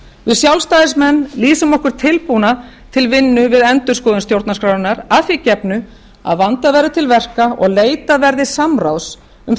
við sjálfstæðismenn lýsum okkur tilbúna til vinnu við endurskoðun stjórnarskrárinnar að því gefnu að vandað verði til verka og leitað verði samráðs um